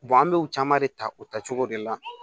an bɛ u caman de ta o ta cogo de la